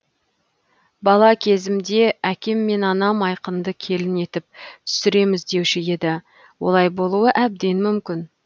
бала кезімізде әкем мен анам айқынды келін етіп түсіреміз деуші еді олай болуы әбден мүмкін